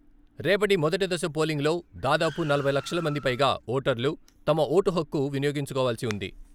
రేపటి మొదటి దశ పోలింగ్లో దాదాపు నలభై లక్షల మందిపైగా ఓటర్లు తమ ఓటు హక్కు వినియోగించుకోవాల్సి ఉంది.